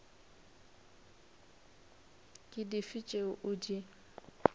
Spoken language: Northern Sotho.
ke dife tšeo o di